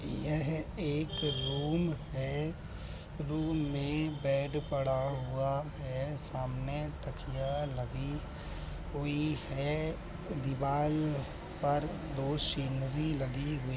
यह एक रूम है | रूम में बेड पड़ा हुआ है सामने तकिया लगी हुई है दीवाल पर दो सीनरी लगी हुई --